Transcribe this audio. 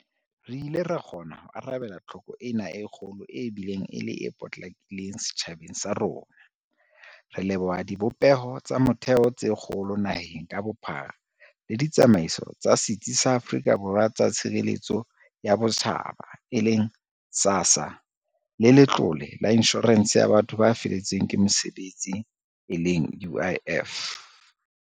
Re ile ra kgona ho arabela tlhoko ena e kgolo e bileng e le e potlakileng setjhabeng sa rona, re leboha dibopeho tsa motheo tse kgolo naheng ka bophara le ditsamaiso tsa Setsi sa Afrika Borwa sa Tshireletso ya Botjhaba, e leng SASSA, le Letlole la Inshorense ya Batho ba Feletsweng ke Mosebetsi e leng UIF.